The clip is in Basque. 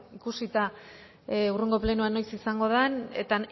ikusita hurrengo plenoa noiz izango den eta